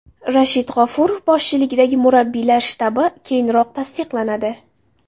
Rashid G‘ofurov boshchiligidagi murabbiylar shtabi keyinroq tasdiqlanadi.